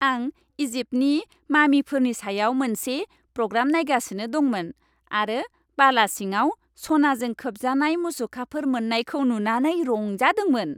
आं इजिप्टनि मामिफोरनि सायाव मोनसे प्रग्राम नायगासिनो दंमोन आरो बाला सिङाव सनाजों खोबजानाय मुसुखाफोर मोन्नायखौ नुनानै रंजादोंमोन।